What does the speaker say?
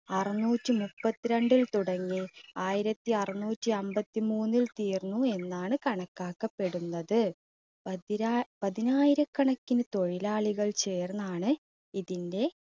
അറുനൂറ്റി മുപ്പത്തിരണ്ടിൽ തുടങ്ങി ആയിരത്തി അറുനൂറ്റി അൻപത്തിമൂന്നിൽ തീർന്നു എന്നാണ് കണക്കാക്കപ്പെടുന്നത്. പതിനാ~പതിനായിരകണക്കിന് തൊഴിലാളികൾ ചേർന്നാണ് ഇതിൻറെ